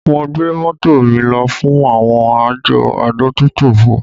Mo gbé mọ́tò mi lọ fún àwọn àjọ adójútòfò